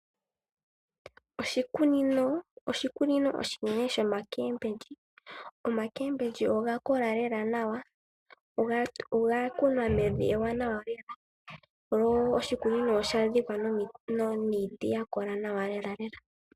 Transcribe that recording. Oshikunino oshinene shoomboga dhomitse. Oomboga dhomitse odha kola lela nawa. Odha kunwa mevi ewanawa sho oshikunino osha dhikwa niiti ya kola nawa lela.